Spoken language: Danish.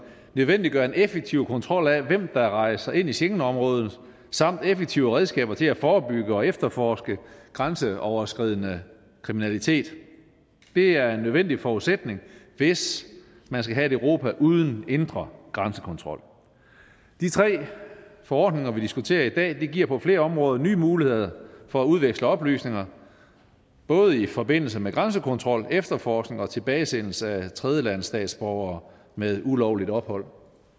nødvendiggør en effektiv kontrol af hvem der rejser ind i schengenområdet samt effektive redskaber til at forebygge og efterforske grænseoverskridende kriminalitet det er en nødvendig forudsætning hvis man skal have et europa uden indre grænsekontrol de tre forordninger vi diskuterer i dag giver på flere områder nye muligheder for at udveksle oplysninger både i forbindelse med grænsekontrol efterforskning og tilbagesendelse af tredjelandsstatsborgere med ulovligt ophold